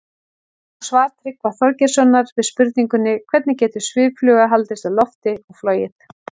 Sjá svar Tryggva Þorgeirssonar við spurningunni Hvernig getur sviffluga haldist á lofti og flogið?